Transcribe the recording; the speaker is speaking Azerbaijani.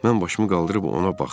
Mən başımı qaldırıb ona baxdım.